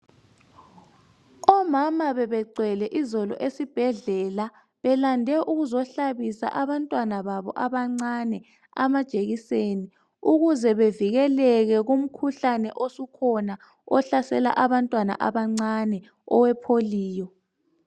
Omama bebegcwele izolo esibhedlela belande ukuzohlabisa abantwana babo abancane amajekiseni ukuze bevikeleke kumkhuhlane osukhona ohlasela abantwana abancane owepolio.